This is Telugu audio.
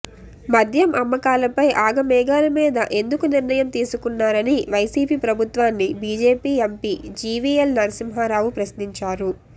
మద్యం అమ్మకాలపై ఆగమేఘాల మీద ఎందుకు నిర్ణయం తీసుకున్నారని వైసీపీ ప్రభుత్వాన్ని బీజేపీ ఎంపీ జీవీఎల్ నరసింహారావు ప్రశ్నించారు